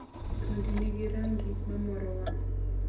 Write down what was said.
thuondi ni gi ragi ma moro wang`